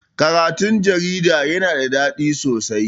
Karatun jarida yana da daɗi sosai.